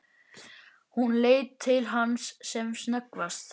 Hún leit til hans sem snöggvast.